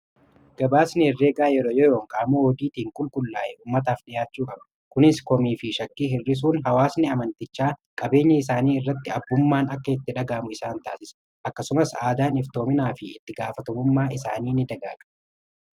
Gabaasni herreegaa yeroo yeroo qaamoota odiitiiin qulqullaa'e ummataaf dhi'aachuu qaba . kunis komii fi shakkii hir'isuun hawaasni amantichaa qabeenya isaanii irratti abbummaan akka itti dhaga'amu isaan taasisa . Akkasumas aadaan iftoominaa fi itti gaafatamummaan isaanii ni dagaaga.